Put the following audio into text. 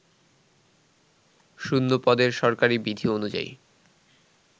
শূন্যপদে সরকারি বিধি অনুযায়ী